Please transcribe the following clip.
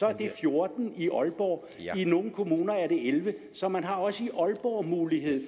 er det fjorten i aalborg i nogle kommuner er det ellevte så man har også i aalborg mulighed